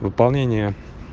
выполнение